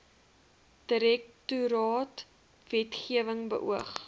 direktoraat wetgewing beoog